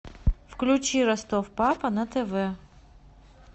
включи ростов папа на тв